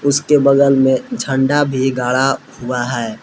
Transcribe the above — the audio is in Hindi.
उसके बगल में झंडा भी गाड़ा हुआ है।